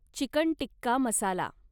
chicken tikka मसाला